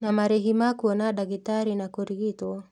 Na marĩhi ma kuona ndagĩtarĩ na kũrigitwo